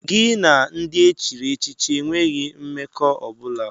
Gị na ndị e chiri echichi enweghị mmekọ ọ bụla!